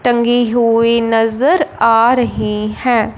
टंगी हुई नजर आ रही हैं।